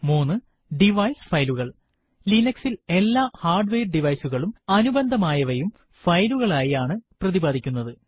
3 device ഫയലുകൽ160 Linux ൽ എല്ലാ ഹാർഡ്വെയർ ഡിവൈസ് കളും അനുബന്ധമായവയും ഫയലുകൾ ആയി ആണ് പ്രതിപാധിക്കുന്നത്